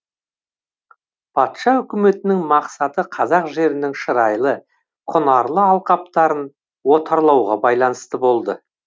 патша өкіметінің мақсаты қазақ жерінің шырайлы құнарлы алқаптарын отарлауға байланысты болды